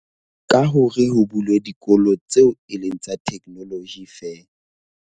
Ka hore ho bulwe dikolo tseo e leng tsa technology feela.